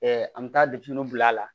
an bɛ taa den bila a la